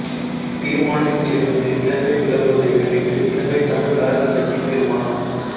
தீர்மானத்திலிருந்து இலங்கை விலகுவதை கண்டித்து இலங்கை தமிழ் அரசு கட்சி தீர்மானம்